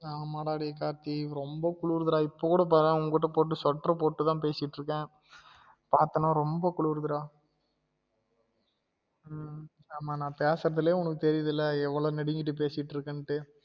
ஆமா டா டேயி கார்த்தி ரொம்ப குளுருது டா இப்ப கூட பாரன் உன்கிட்ட போட்டு sweater போட்டு தான் பேசிட்டு இருக்கன் பாத்தான ரொம்ப குளுருது டா உம் ஆமா நான் பேசுரதுலே உனக்கு தெரியுதுல எவ்ளோ நடிங்கிட்டு பேசிட்டு இருக்கன்டு